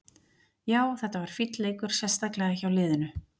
Já, þetta var fínn leikur, sérstaklega hjá liðinu.